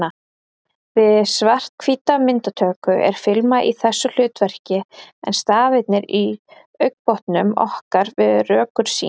Við svarthvíta myndatöku er filman í þessu hlutverki en stafirnir í augnbotnum okkar við rökkursýn.